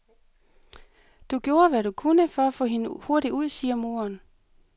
Du gjorde, hvad du kunne, for at få hende hurtigt ud, siger moderen.